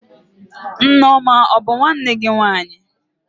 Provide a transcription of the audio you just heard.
Nneoma a bụ nwanne gị nwaanyị?